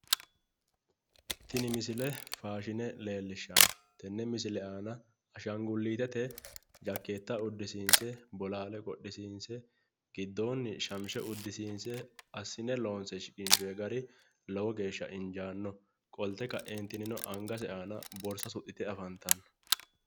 Tini misile faashine leellishshanno. Tenne misile aana ashaangulliitete jakkeetta uddisiinse bolaale qodhisiinse giddoonni shamise uddisiinse giddoonni assine loonse shiqinshoye gari lowo geeshsha injaanno. Qolte kaeentinnino angase aana borsa suxxite afantanno.